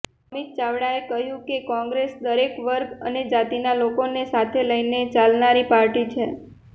અમિત ચાવડાએ કહ્યું કે કોંગ્રેસ દરેક વર્ગ અને જાતિના લોકોને સાથે લઈને ચાલનારી પાર્ટી છે